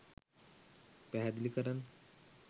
පැහැදිලි කරන්න.